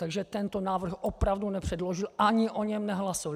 Takže tento návrh opravdu nepředložil ani o něm nehlasoval.